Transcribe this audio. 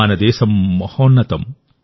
మన దేశం మహోన్నతం